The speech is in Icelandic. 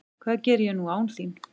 Hvað geri ég nú án þín?